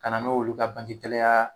Ka na n'olu ka bangikɛlaya